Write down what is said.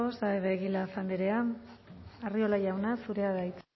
saez de egilaz andrea arriola jauna zurea da hitza